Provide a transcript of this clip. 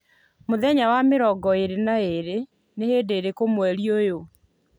muthenya wa mĩrongo ĩĩrĩ na ĩĩrĩ ni hĩndĩ ĩrĩkũ mweri ũyũ